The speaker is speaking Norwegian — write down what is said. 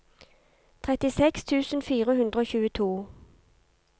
trettiseks tusen fire hundre og tjueto